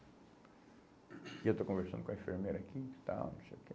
E eu estou conversando com a enfermeira aqui e tal, não sei o que,